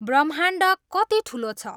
ब्रह्माण्ड कति ठुलो छ